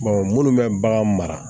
munnu bɛ bagan mara